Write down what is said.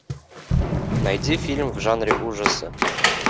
найди фильм в жанре ужасы